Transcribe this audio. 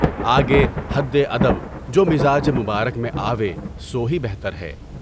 آگے حدِ ادب جو مزاج مبارک میں آوے سو ہی بہتر ہے۔